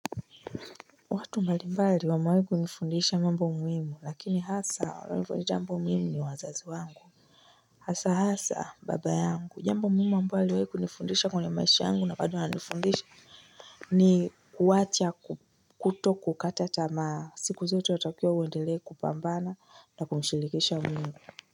Watu mbalimbali wamewai kunifundisha mambo muhimu lakini hasa walionifundisha jambo muhimu ni wazazi wangu hasa hasa babayangu jambo muhimu amewai kunifundisha kwenye maisha yangu na bado ananifundisha ni kuwacha kuto kukata tamaa siku zote watakiwa uendelee kupambana na kumshirikisha mungu.